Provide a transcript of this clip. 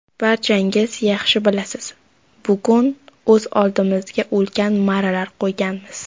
Barchangiz yaxshi bilasiz, bugun o‘z oldimizga ulkan marralar qo‘yganmiz.